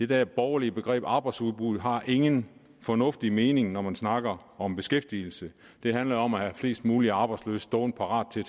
der borgerlige begreb arbejdsudbuddet har ingen fornuftig mening når man snakker om beskæftigelse det handler om at have flest mulige arbejdsløse stående parat til